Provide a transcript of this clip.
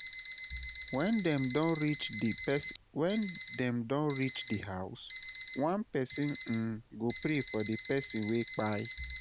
wen dem don rich di house, one pesin um go pray for di person wey kpai